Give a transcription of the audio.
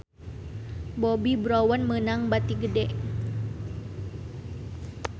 Bobbi Brown meunang bati gede